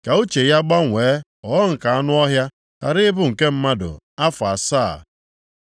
Ka uche ya gbanwee ghọọ nke anụ ọhịa, ghara ibu nke mmadụ, afọ asaa.